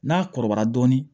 N'a kɔrɔbayara dɔɔnin